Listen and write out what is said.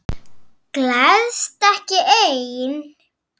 Gleðst ekki ein.